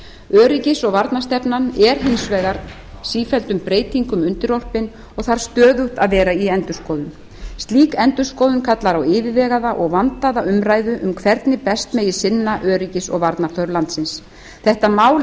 öryggis og varnarstefnan er hins vegar raunar sífelldum breytingum undirorpin og þarf stöðugt að vera í endurskoðun slík endurskoðun kallar á yfirvegaða og vandaða umræðu um hvernig best megi sinna öryggis og varnarþörf landsins þetta mál